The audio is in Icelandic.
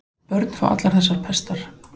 Börn fá allar þessar pestar.